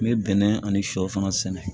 N bɛ bɛnɛ ani shɛw fana sɛnɛ